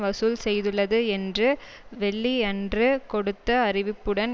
வசூல் செய்துள்ளது என்று வெள்ளியன்று கொடுத்த அறிவிப்புடன்